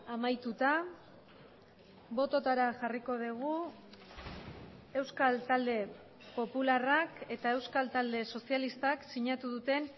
amaituta bototara jarriko dugu euskal talde popularrak eta euskal talde sozialistak sinatu duten